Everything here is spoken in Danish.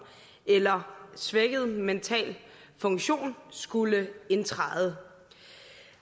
eller svækket mental funktion skulle indtræde